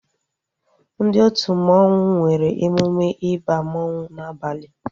Ndị otu mmanwu nwere emume ịba mmanwu n'abalia